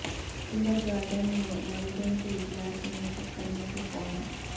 kindergarten میں والدین کے اجلاس منعقد کرنے کے فارم